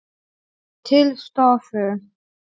Til stofu.